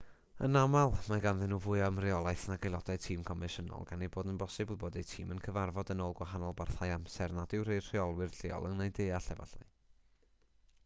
yn aml mae ganddyn nhw fwy o ymreolaeth nag aelodau tîm confensiynol gan ei bod yn bosibl bod eu tîm yn cyfarfod yn ôl gwahanol barthau amser nad yw eu rheolwyr lleol yn eu deall efallai